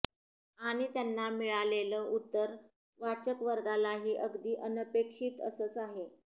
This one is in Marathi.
आणि त्यांना मिळालेलं उत्तर वाचकवर्गालाही अगदी अनपेक्षित असंच आहे